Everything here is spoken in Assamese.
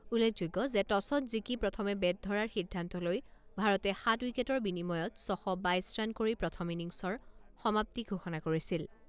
উল্লেখযোগ্য যে টছত জিকি প্ৰথমে বেট ধৰাৰ সিদ্ধান্ত লৈ ভাৰতে সাত উইকেটৰ বিনিময়ত ছশ বাইছ ৰাণ কৰি প্ৰথম ইনিংছৰ সমাপ্তি ঘোষণা কৰিছিল।